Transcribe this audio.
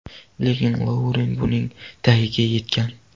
Lekin Louren buning tagiga yetgan.